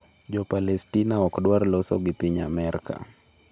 Jo Palestina ok dwar loso gi piny Amerka